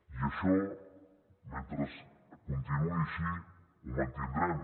i això mentre continuï així ho mantindrem